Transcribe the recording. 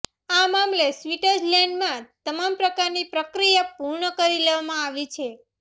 આ મામલે સ્વિટઝર્લેન્ડમાં તમામ પ્રકારની પ્રક્રિયા પૂર્ણ કરી લેવામાં આવી છે